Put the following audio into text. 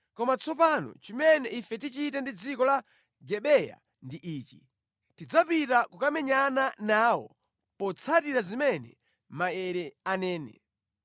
Koma tsopano chimene ife tichite ndi dziko la Gibeya ndi ichi: Tidzapita kukamenyana nawo potsatira zimene maere anene.